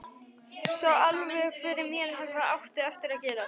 Sá alveg fyrir mér hvað átti eftir að gerast.